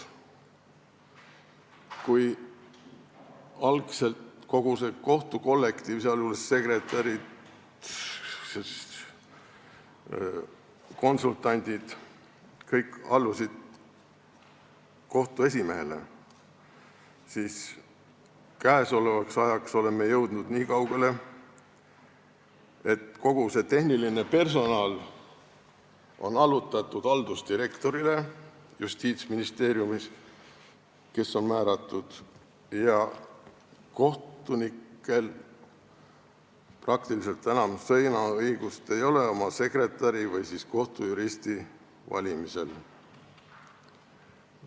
Kui algselt kogu kohtukollektiiv, sealjuures ka sekretärid ja konsultandid, allusid kohtu esimehele, siis käesolevaks ajaks oleme jõudnud niikaugele, et kogu tehniline personal on allutatud haldusdirektorile, kes on määratud Justiitsministeeriumis, ja kohtunikel ei ole peaaegu sõnaõigust oma sekretäri või kohtujuristi valimisel.